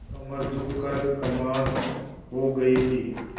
कमर झुक कर कमान हो गयी थी